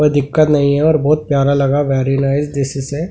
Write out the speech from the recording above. कोई दिक्कत नहीं है और बहुत प्यारा लगा वेरी नाइस --